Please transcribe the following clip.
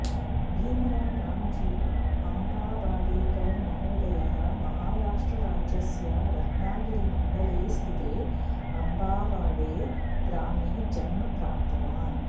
भीमराव रामजी अम्बावाडेकर महोदयः महाराष्ट्रराज्यस्य रत्नगिरिमण्डले स्थिते अम्बावाडे ग्रामे जन्म प्राप्तवान्